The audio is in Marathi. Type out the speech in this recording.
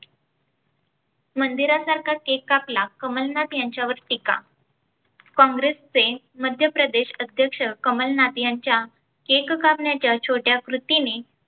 मंदिरासारखा cake कापला कमलनाथ यांच्यावर टीका. काँग्रेसचे मध्यप्रदेश अध्यक्ष कमलनाथ यांच्या cake कापण्याच्या छोट्या कृतीने